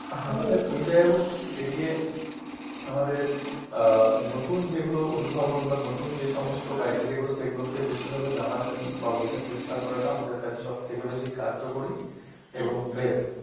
আমাদের এই জায়গা গুলো থেকে বেরিয়ে আমাদের আহ নতুন যেগুলো উদ্ভাবন বা নতুন যে সমস্ত criteria গুলো সেগুলোকে বেশি ভাগই জানার জন্য বা বোঝার চেষ্টা করাটা আমাদের কাছে সবথেকে বেশি কার্যকরী এবং best